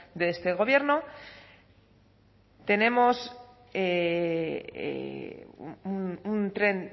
de este gobierno tenemos un tren